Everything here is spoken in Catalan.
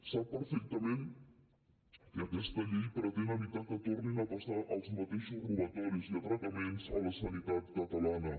sap perfectament que aquesta llei pretén evitar que tornin a passar els mateixos robatoris i atracaments a la sanitat catalana